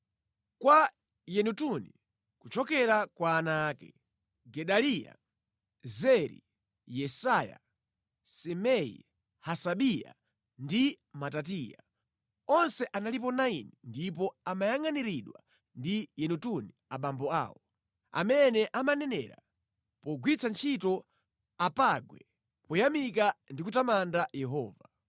Kwa Yedutuni, kuchokera kwa ana ake: Gedaliya, Zeri, Yesaya, Simei, Hasabiya ndi Matitiya. Onse analipo 9 ndipo amayangʼaniridwa ndi Yedutuni abambo awo, amene amanenera pogwiritsa ntchito apangwe poyamika ndi kutamanda Yehova.